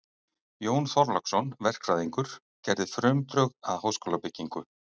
Jón Þorláksson, verkfræðingur, gerði frumdrög að háskólabyggingu